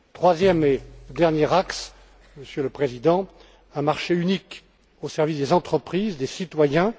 Troisième et dernier axe, Monsieur le Président un marché unique au service des entreprises, des citoyens.